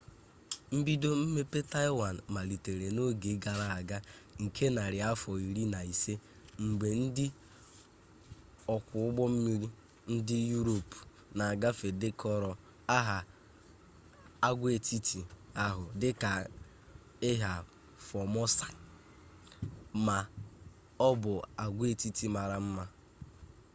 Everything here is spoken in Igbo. mbido mmepe taịwan malitere n'oge gara aga nke narị afọ iri na ise mgbe ndị ọkwụ ụgbọ mmiri ndị yurop na-agafe dekọrọ aha agwaetiti ahụ dị ka ilha formosa ma ọ bụ agwaetiti mara mma